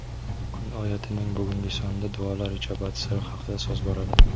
"Kun oyati"ning bugungi sonida duolar ijobat siri haqida so‘z boradi.